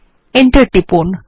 enter টিপুন